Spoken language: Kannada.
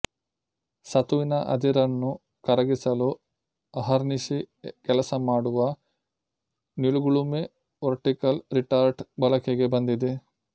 ಸತುವಿನ ಅದಿರನ್ನು ಕರಗಿಸಲು ಅಹರ್ನಿಶಿ ಕೆಲಸ ಮಾಡುವ ನಿಲುಗುಲುಮೆ ವರ್ಟಿಕಲ್ ರಿಟಾರ್ಟ್ ಬಳಕೆಗೆ ಬಂದಿದೆ